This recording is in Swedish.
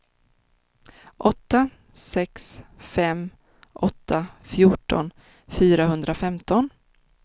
åtta sex fem åtta fjorton fyrahundrafemton